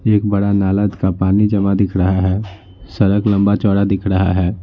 एक बड़ा नाला का पानी जमा दिख रहा है सड़क लंबा चौड़ा दिख रहा है।